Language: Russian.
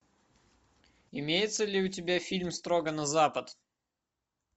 имеется ли у тебя фильм строго на запад